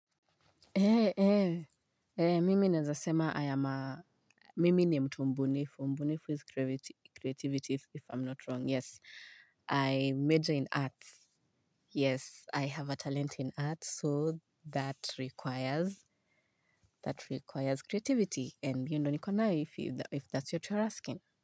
Eh, eh, eh, mimi naezasema, I am a, mimi ni mtu mbunifu, mbunifu is creativity, if I'm not wrong, yes, i major in arts, yes, i have a talent in arts, so that requires, that requires creativity, and you ndo nikonayo if that's what you are asking.